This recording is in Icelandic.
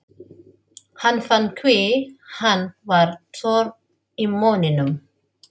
Hann fann hve hann var þurr í munninum.